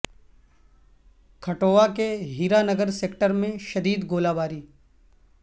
کھٹوعہ کے ہیرا نگر سیکٹر میں شدید گولہ باری